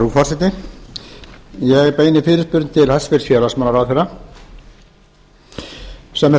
frú forseti ég beini fyrirspurn til hæstvirts félagsmálaráðherra sem er